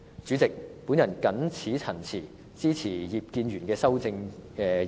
主席，我謹此陳辭，支持葉建源議員的修正案。